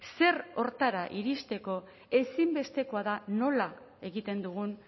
zer horretara iristeko ezinbestekoa da nola egiten dugun